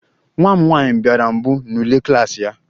Nwa m nwanyị bịara mbụ n'ule klas ya